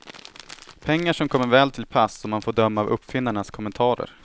Pengar som kommer väl till pass, om man får döma av uppfinnarnas kommentarer.